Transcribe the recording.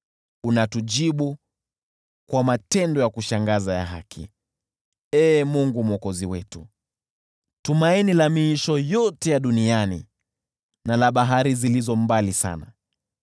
Unatujibu kwa matendo ya kushangaza ya haki, Ee Mungu Mwokozi wetu, tumaini la miisho yote ya duniani na la bahari zilizo mbali sana,